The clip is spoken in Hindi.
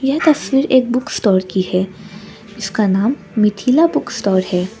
यह तस्वीर एक बुक स्टोर की है जिसका नाम मिथिला बुक स्टोर है।